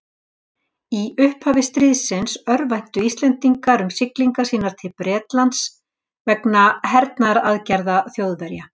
Í upphafi stríðsins örvæntu Íslendingar um siglingar sínar til Bretlands vegna hernaðaraðgerða Þjóðverja.